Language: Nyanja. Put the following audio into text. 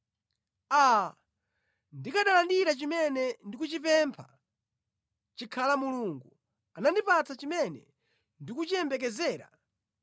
“Aa, ndikanalandira chimene ndikuchipempha, chikhala Mulungu anandipatsa chimene ndikuchiyembekezera,